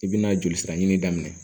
I bɛna joli sira ɲini daminɛ